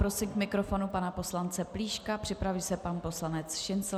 Prosím k mikrofonu pana poslance Plíška, připraví se pan poslanec Šincl.